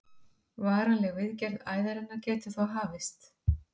Varanleg viðgerð æðarinnar getur þá hafist.